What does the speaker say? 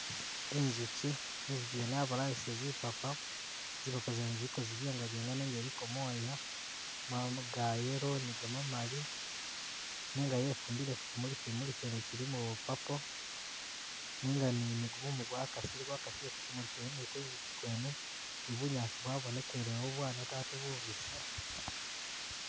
Inzuki, inzuki yene yabalayisile zipapa, zipapa zene ziliko zibyengabyenga nenga iliko mooya, mwabamu ga yellow ni gamamali nenga yefumbile ku kimuli, kimuli kyene kilimo bwa purple nenga ni ni gumumu gwakasile, gwakasile ku kimuli kyene ni ku nzuki kwene ni bunyaasi bwabonekeeleyo bwaneta ate bubisi.